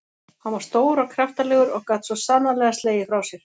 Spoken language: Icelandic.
Hann var stór og kraftalegur og gat svo sannarlega slegið frá sér.